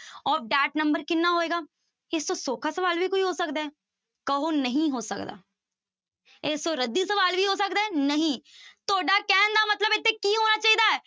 Of that number ਕਿੰਨਾ ਹੋਏਗਾ, ਇਸ ਤੋਂ ਸੌਖਾ ਸਵਾਲ ਵੀ ਕੋਈ ਹੋ ਸਕਦਾ ਹੈ, ਕਹੋ ਨਹੀਂ ਹੋ ਸਕਦਾ ਇਸ ਤੋਂ ਰੱਦੀ ਸਵਾਲ ਵੀ ਹੋ ਸਕਦਾ ਹੈ ਨਹੀਂ ਤੁਹਾਡਾ ਕਹਿਣ ਦਾ ਮਤਲਬ ਇੱਥੇ ਕੀ ਹੋਣਾ ਚਾਹੀਦਾ ਹੈ।